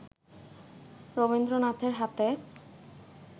রবীন্দ্রনাথের হাতে